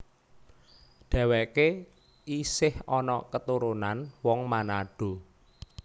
Dhèwèké isih ana keturunan wong Manado